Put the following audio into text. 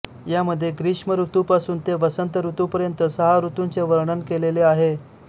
यामध्ये ग्रीष्म ऋतुपासून ते वसंत ऋतुपर्यंत सहा ऋतुंचे वर्णन केलेले आहे